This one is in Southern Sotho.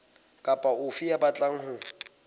kapa ofe ya batlang ho